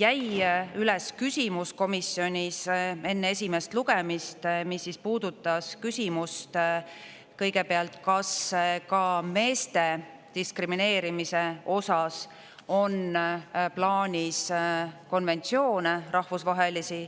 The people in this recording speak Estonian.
jäi üles küsimus komisjonis enne esimest lugemist, mis puudutas küsimust kõigepealt, kas ka meeste diskrimineerimise osas on plaanis konventsioone rahvusvahelisi.